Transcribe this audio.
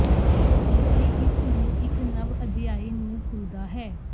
ਜੀਵਨੀ ਇਸ ਨੂੰ ਇੱਕ ਨਵ ਅਧਿਆਇ ਨੂੰ ਖੁੱਲਦਾ ਹੈ